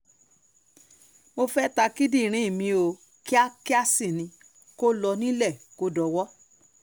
mo fẹ́ẹ́ ta kíndìnrín mi ò kíákíá sí ni kó lọ nílé kó dọwọ́